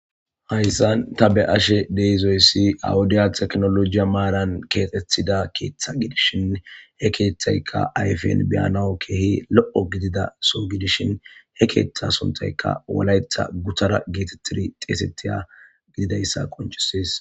Hayisan ta be'ashe dizayis ha wodeya tekinolojy maran kethetida ketha gidishin hekethayika ayipen kehi lo'o gidida soo gidishin he ketha soohoy wolaitay gutara gidizays qonicises